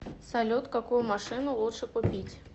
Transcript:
салют какую машину лучше купить